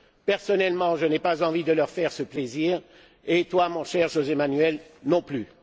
Personnellement, je n'ai pas envie de leur faire ce plaisir et toi, mon cher José Manuel, non plus.